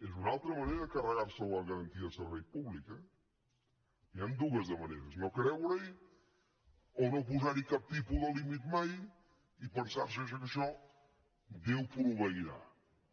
és una altra manera de carregarse la garantia de servei públic eh n’hi ha dues de maneres no creurehi o no posarhi cap tipus de límit mai i pensarse que en això déu proveirà